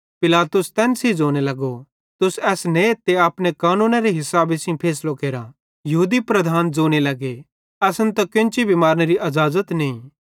पिलातुसे तैन सेइं ज़ोने लगो तुस एस नेथ ते अपने कानूनेरे हिसाबे सेइं फैसलो केरा यहूदी लीडर ज़ोने लगे असन त केन्ची भी मारनेरी अज़ाज़त नईं